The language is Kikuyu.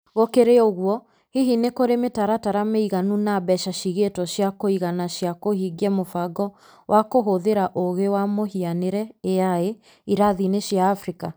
Gũkĩrĩ ũguo, hihi nĩ kũrĩ mĩtaratara mĩiganu na mbeca ciigĩtwo cia kũigana cia kũhingia mũbango wa kũhũthĩra ũũgĩ wa mũhianĩre(AI) irathi-inĩ cia Africa?